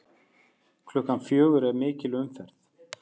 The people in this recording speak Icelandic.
Klukkan fjögur er mikil umferð.